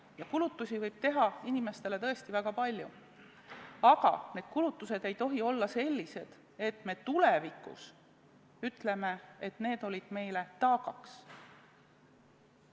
Ja kulutusi võib teha inimestele tõesti väga palju, aga need ei tohi olla sellised, et me peaksime tulevikus ütlema, et need olid meile taagaks.